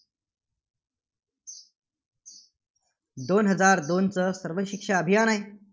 दोन हजार दोनचं सर्वशिक्षा अभियान आहे.